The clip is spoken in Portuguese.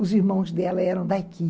Os irmãos dela eram daqui.